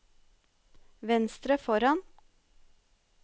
venstre foran